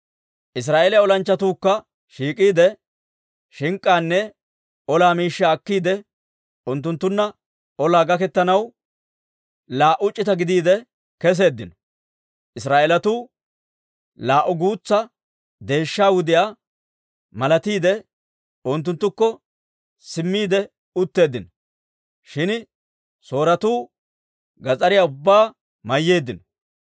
Israa'eeliyaa olanchchatuukka shiik'iide, shink'k'aanne olaa miishshaa akkiide, unttunttunna olaa gaketanaw laa"u c'ita gidiide keseeddino. Israa'eelatuu laa"u guutsa deeshsha wudiyaa malatiide, unttunttukko simmiide utteeddino; shin Sooretuu gas'ariyaa ubbaa mayyeeddino.